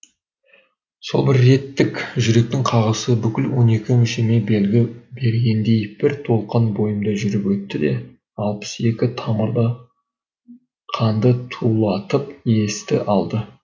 сол бір реттік жүректің қағысы бүкіл он екі мүшеме белгі бергендей бір толқын бойымда жүріп өтті де алпыс екі тамырда қанды тулатып есті алды